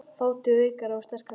Þátíð veikra og sterkra sagna.